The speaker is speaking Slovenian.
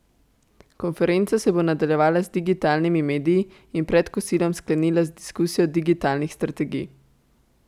Konferenca se bo nadaljevala z digitalnimi mediji in pred kosilom sklenila z diskusijo digitalnih strategij.